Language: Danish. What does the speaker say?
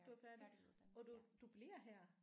Du er færdig og du du bliver her?